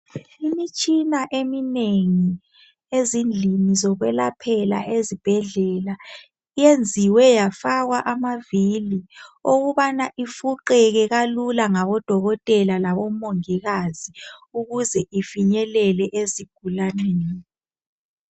Imitshina eminengi ezindlini zokwelaphela ezibhedlela iyenziwe yafakwa amavili okubana ifuqeke kalula ngabodokotela labomongikazi ukuze ifinyelele ezigulaneni .